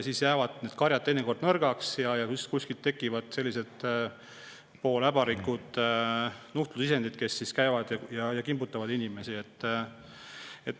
Siis jäävad need karjad teinekord nõrgaks ja tekivad sellised pooläbarikud nuhtlusisendid, kes käivad ja kimbutavad inimesi.